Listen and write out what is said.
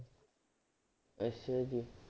ਅੱਛਾ ਜੀ।